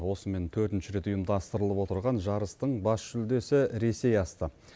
осымен төртінші рет ұйымдастырылып отырған жарыстың бас жүлдесі ресей асты